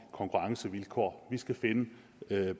konkurrencevilkår vi skal finde